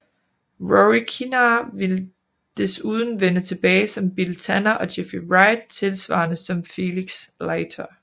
Rory Kinnear ville desuden vende tilbage som Bill Tanner og Jeffrey Wright tilsvarende som Felix Leiter